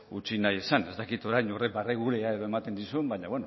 utzi nahi izan ez dakit orain horrek barregurea edo ematen dizun baina